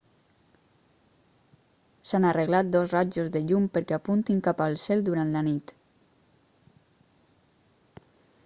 s'han arreglat dos rajos de llum perquè apuntin cap al cel durant la nit